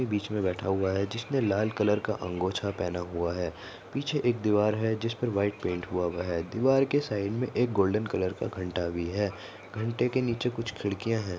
बीच में बैठा हुआ है जिसने लाल कलर का अंगोछा पहना हुआ है पीछे एक दीवार है जिस पर व्हाइट पेंट हुआ है दीवार के साइड में एक गोल्डन कलर का घंटा भी है घंटे के नीचे कुछ खिड़कियां है।